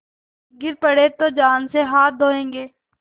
गिर पड़े तो जान से हाथ धोयेंगे